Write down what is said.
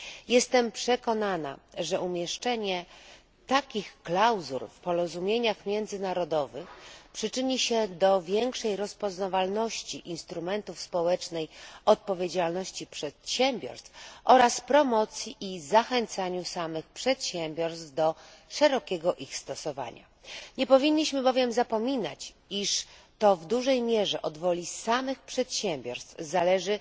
Jestem przekonana, że umieszczenie takich klauzul w porozumieniach międzynarodowych przyczyni się do większej rozpoznawalności instrumentów społecznej odpowiedzialności przedsiębiorstw oraz promocji i zachęcania samych przedsiębiorstw do szerokiego ich stosowania. Nie powinniśmy bowiem zapominać, iż to w dużej mierze od woli samych przedsiębiorstw zależy